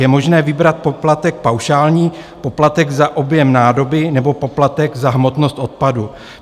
Je možné vybrat poplatek paušální, poplatek za objem nádoby nebo poplatek za hmotnost odpadu.